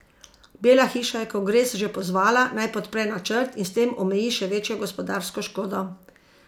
Bela hiša je kongres že pozvala naj podpre načrt in s tem omeji še večjo gospodarsko škodo.